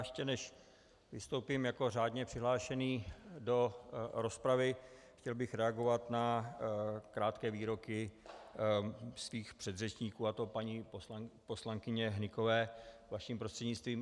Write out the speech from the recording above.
Ještě než vystoupím jako řádně přihlášený do rozpravy, chtěl bych reagovat na krátké výroky svých předřečníků, a to paní poslankyně Hnykové vaší prostřednictvím.